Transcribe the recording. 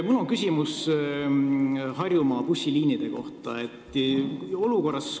Mul on küsimus Harjumaa bussiliinide kohta.